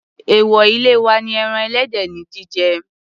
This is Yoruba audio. Èwò ilé wa ni ẹran ẹlẹ́dẹ̀ ní jíjẹ.